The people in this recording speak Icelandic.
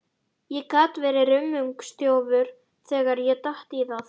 Ég gat verið rummungsþjófur þegar ég datt í það.